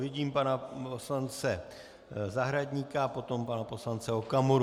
Vidím pana poslance Zahradníka a potom pana poslance Okamuru.